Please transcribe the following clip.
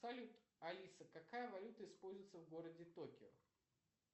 салют алиса какая валюта используется в городе токио